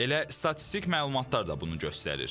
Elə statistik məlumatlar da bunu göstərir.